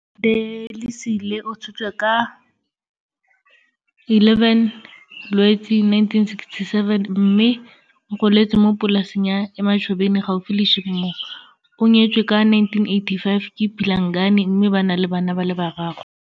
Delisile o tshotswe ka 11 Lwetse 1967 mme o goletse mo polaseng ya Emachobeni gaufi le Sheepmoor. O nyetswe ka 1985 ke Philangani mme ba na le bana ba le bararo.